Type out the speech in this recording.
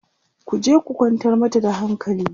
ku je ku kwantar mata da hankali!